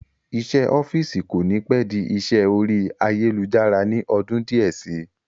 Isẹ́ ọ́fìsì kò ní pẹ́ di isẹ́ orí ayélujára ní ọdún díẹ̀ sí